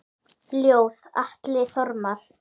Ljóð: Atli Þormar